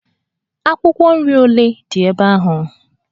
Akwụkwọ nri ole dị ebe ahụ?